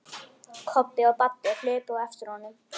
Kobbi og Baddi hlupu á eftir honum.